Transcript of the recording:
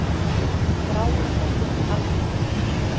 Þráin eftir algleyminu.